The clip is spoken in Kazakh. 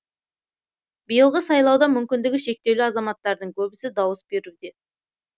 биылғы сайлауда мүмкіндігі шектеулі азаматтардың көбісі дауыс беруде